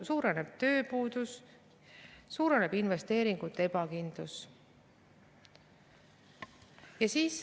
Suureneb tööpuudus, suureneb investeeringute ebakindlus.